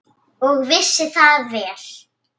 Og vissi það vel.